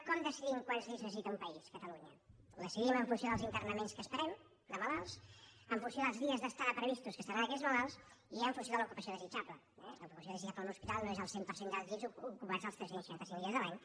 com decidim quants llits necessita un país catalunya ho decidim en funció dels internaments que esperem de malalts en funció dels dies d’estada previstos que estaran aquells malalts i en funció de l’ocupació desitjable eh l’ocupació desitjable en un hospital no és del cent per cent dels llits ocupats els tres cents i seixanta cinc dies l’any